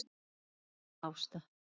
Þín amma Ásta.